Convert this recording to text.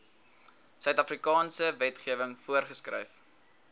suidafrikaanse wetgewing voorgeskryf